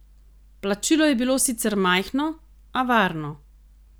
Plačilo je bilo sicer majhno, a varno.